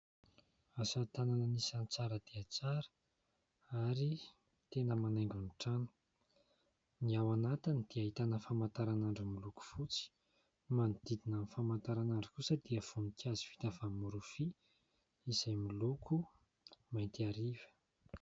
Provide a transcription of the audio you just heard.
Asa tanana anisan'ny tsara dia tsara ary tena manaingo ny trano. Ny ao anatiny dia ahitana famantaranandro miloko fotsy. Manodidina ny famantaranandro kosa dia voninkazo vita avy amin'ny rofia izay moloko mainty hariva.